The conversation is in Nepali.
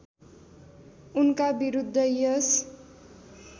उनका विरुद्ध यस